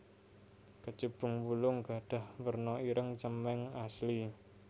Kecubung wulung gadhah werna ireng cemeng asli